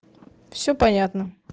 всё понятно